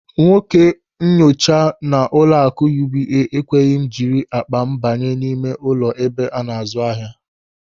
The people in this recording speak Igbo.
Nwoke onyenche nọ n'ụlọaku UBA ekweghị m jiri akpa m banye n'ime ụlọ ebe ana-azụ ahịa.